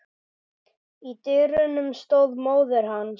Í dyrunum stóð móðir hans.